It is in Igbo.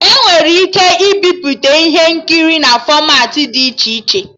Enwere ike ibiputa ihe nkiri na fọmatị dị iche iche